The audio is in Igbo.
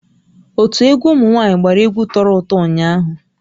Ótú egwu ụmụnwaanyị gbàrà egwu tọrọ ụtọ ụnyaahụ